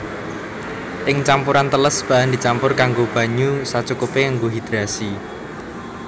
Ing campuran teles bahan dicampur nganggo banyu sacukupé kanggo hidrasi